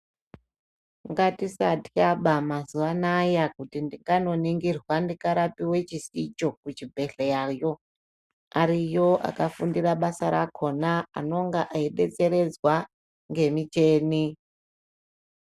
Ngatisatya ba mazuva anaya kuti kanoningirwa ndikarapiwe chisicho kuchibhedhleya yo ariyo akafundira basa rakona anonga eidetseredzwa ngemichini.